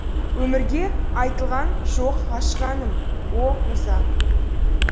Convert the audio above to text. өмірге айтылған жоқ ғашық әнім о муза